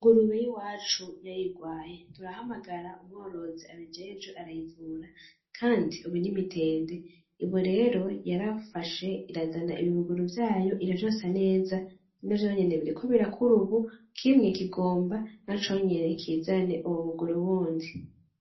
Ingurube yiwacu yar'irwaye ,turahamagara umworozi abijejwe arayivura, kandi ubu ni mitende, ubu rero yarafashe irazana ibibuguru vyayo iravyonsa neza, navyonyene biriko birakura ubu kimwe kigomba naconyene kizane ububuguru bundi.